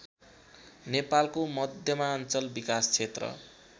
नेपालको मध्यमाञ्चल विकास क्षेत्र